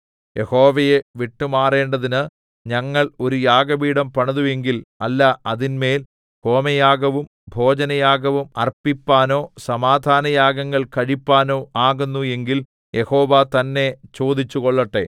യഹോവയെ വിട്ടുമാറേണ്ടതിന് ഞങ്ങൾ ഒരു യാഗപീഠം പണിതു എങ്കിൽ അല്ല അതിന്മേൽ ഹോമയാഗവും ഭോജനയാഗവും അർപ്പിപ്പാനോ സമാധാനയാഗങ്ങൾ കഴിപ്പാനോ ആകുന്നു എങ്കിൽ യഹോവ തന്നെ ചോദിച്ചുകൊള്ളട്ടെ